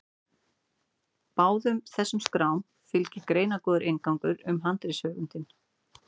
Báðum þessum skrám fylgir greinargóður inngangur um handritasöfnin.